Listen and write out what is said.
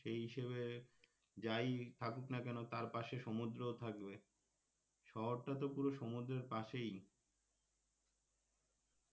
সেই হিসেবে যাই থাকুক না কেন তার পাশে সমুদ্র ও থাকবে শহরটা তো পুরো সমুদ্রের পাশেই